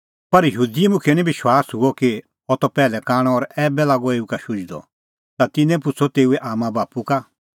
पर यहूदी मुखियै निं विश्वास हुअ कि अह त पैहलै कांणअ और ऐबै लागअ एऊ का शुझदअ ता तिन्नैं पुछ़अ तेऊए आम्मांबाप्पू का